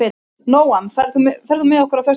Nóam, ferð þú með okkur á föstudaginn?